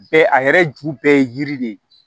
Bɛɛ a yɛrɛ ju bɛɛ ye yiri de ye